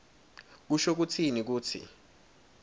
kusho kutsini kutsi